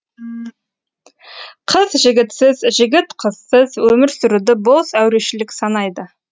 қыз жігітсіз жігіт қызсыз өмір сүруді бос әурешілік санайды